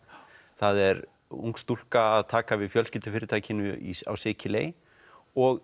það er ung stúlka að taka við fjölskyldufyrirtækinu á Sikiley og